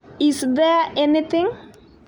Is there anything?